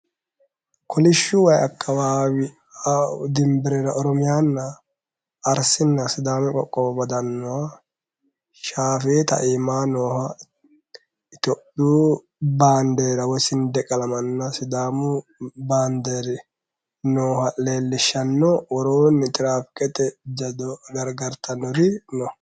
Kolishu wayi akawaawi dinberera oromiyana Ariana sidaamu qoqqowo baddanoha shaafeeta iima nooha ityophiu bandera woy sindeqalamana sidaamu bander nooha leelishano, worooni tirafikete jaddo garigaritanori no